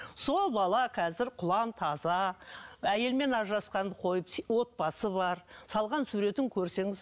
сол бала қазір құлан таза әйелімен ажырасқанды қойып отбасы бар салған суретін көрсеңіз